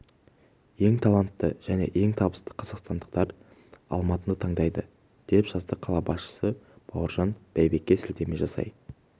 ең талантты және ең табысты қазақстандықтар алматыны таңдайды деп жазады қала басшысы бауыржан байбекке сілтеме жасай